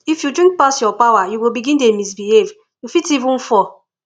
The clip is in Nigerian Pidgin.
if you drink pass your power you go begin dey misbehave you fit even fall